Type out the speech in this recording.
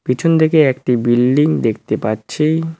পিছনদিকে একটি বিল্ডিং দেখতে পাচ্ছি।